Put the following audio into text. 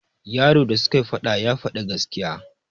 yaro da sukai faɗa ya Fadi gaskiya